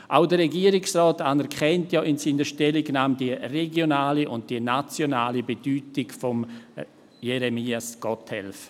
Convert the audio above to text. Auch der Regierungsrat anerkennt ja in seiner Stellungnahme die regionale und die nationale Bedeutung von Jeremias Gotthelf.